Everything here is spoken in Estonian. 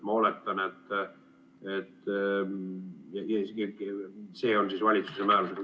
Ma oletan, et seda tehakse valitsuse määrusega.